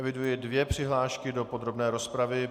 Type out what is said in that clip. Eviduji dvě přihlášky do podrobné rozpravy.